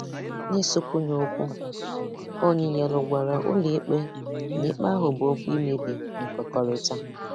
N'isụkwunye okwu, Oniyelu gwara ụlọ ikpe na ikpe ahụ bụ okwu imebi nkwekọrịta.